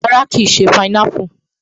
Rárá, kìí ṣé pineapple